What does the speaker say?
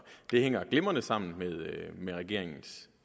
det hænger glimrende sammen med regeringens